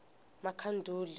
makhanduli